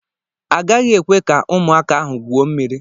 Agaghị ekwe ka ụmụaka ahụ gwuo mmiri.